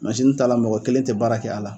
Mansini ta la mɔgɔ kelen tɛ baara kɛ a la